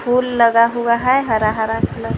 फूल लगा हुआ है हरा हरा कलर --